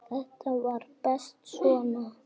Þetta var best svona.